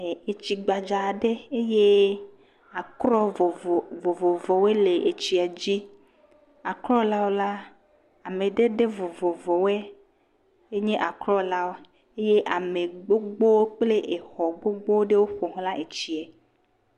… tsi gbadza aɖe eye akrɔ vovovowoe le tsia dzi. Akrɔ la wo la, amadede vovovowo nye akrɔ la eye ame gbogbo kple xɔ gbogbo ɖewo ƒo xlã tsia.